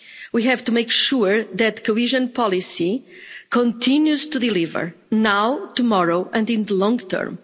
We have to make sure that cohesion policy continues to deliver now, tomorrow and in the long term.